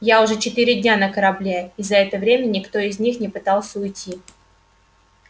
я уже четыре дня на корабле и за это время никто из них не пытался уйти